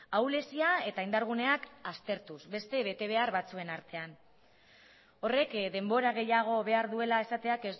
ahulezia eta indarguneak aztertuz beste betebehar batzuen artean horrek denbora gehiago behar duela esateak